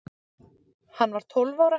Hann var tólf ára.